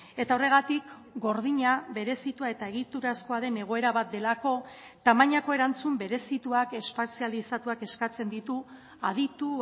eta horregatik gordina berezitua eta egiturazkoa den egoera bat delako tamainako erantzun berezituak espezializatuak eskatzen ditu aditu